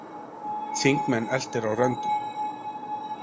Þingmenn eltir á röndum